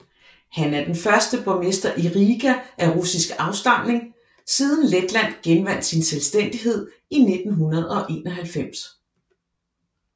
Han er den første borgmester i Riga af russisk afstamning siden Letland genvandt sin selvstændighed i 1991